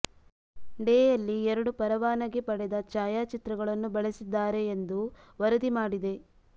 ಡೆ ಯಲ್ಲಿ ಎರಡು ಪರವಾನಗಿ ಪಡೆದ ಛಾಯಾಚಿತ್ರಗಳನ್ನು ಬಳಸಿದ್ದಾರೆ ಎಂದು ವರದಿ ಮಾಡಿದೆ